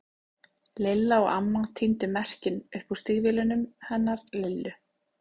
Lilla og amma tíndu merkin upp úr stígvélunum hennar Lillu.